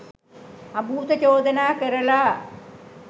අභූත චෝදනා කරලා